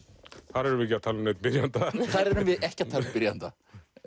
þar erum við ekki að tala um neinn byrjanda þar erum við ekki að tala um byrjanda